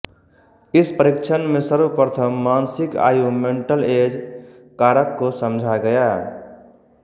इस परीक्षण में सर्वप्रथम मानसिक आयु मेन्टल एज कारक को समझा गया